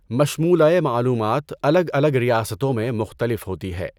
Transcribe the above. مشمُولۂ معلومات الگ الگ ریاستوں میں مختلف ہوتی ہے۔